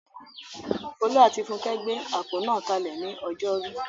Folú àti Funkẹ́ gbé àpò náà kalẹ̀ ní ọjọ́rú.